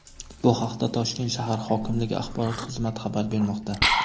Bu haqda Toshkent shahar hokimligi axborot xizmati xabar bermoqda.